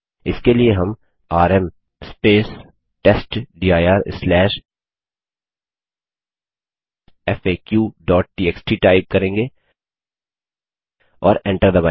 इसके लिए हम आरएम testdirfaqटीएक्सटी टाइप करेंगे और एंटर दबायेंगे